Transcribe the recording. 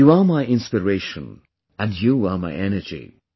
You are my inspiration and you are my energy